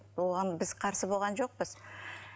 оған біз қарсы болған жоқпыз